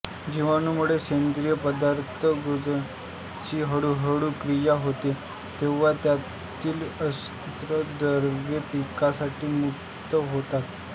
जिवाणूंमुळे सेंद्रिय पदार्थ कुजण्याची हळूहळू क्रिया होते तेव्हा त्यातील अन्नद्रव्ये पिकासाठी मुक्त होतात